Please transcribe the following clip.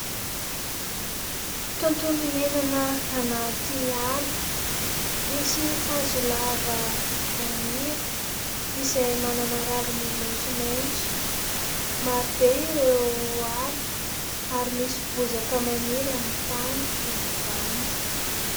Tontolo iainana anaty ala. Misy hazo lava maniry izay manana raviny maintsomaintso. Marobe ireo ala ary misy bozaka maniry amin'ny tany eny ambany.